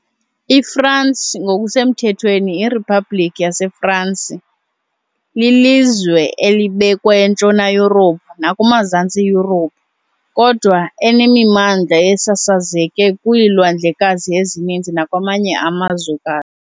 IFransi ngokusemthethweni iRiphabhlikhi yaseFransi lilizwe elibekwe eNtshona Yurophu nakumaZantsi Yurophu, kodwa enemimandla esasazeke kwiilwandlekazi ezininzi nakwamanye amazwekazi.